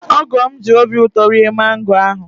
Ogo'm ji obi ụtọ rie mango ahụ